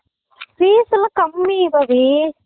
fees எல்லாம் கம்மி Bobby